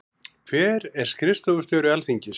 Hver er skrifstofustjóri Alþingis?